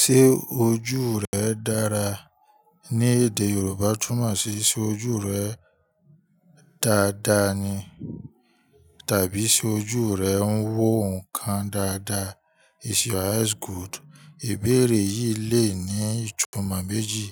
Ṣé ojú rẹ dára ní èdè Yorùbá túmọ̀ sí ṣe ojú rẹ dáadáa ni? Tàbí ṣe ojú rẹ ń wo nǹkan dáadáa? Is your eyes good? Ìbéèrè yìí le ní ìtumọ̀ méjì.